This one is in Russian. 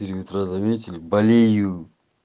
или метро заметили болею